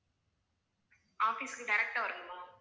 office க்கு direct ஆ வரணுமா